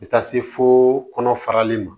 Bɛ taa se fo kɔnɔ farali ma